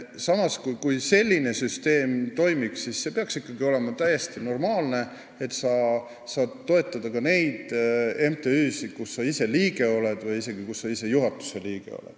Samas, kui selline süsteem toimib, siis see peaks olema normaalne, et sa saad toetada ka neid MTÜ-sid, mille liige sa ise oled, isegi kui sa oled juhatuse liige.